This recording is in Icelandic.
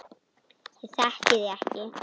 Ég þekki þig